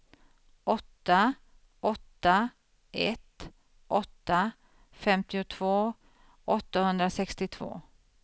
åtta åtta ett åtta femtiotvå åttahundrasextiotvå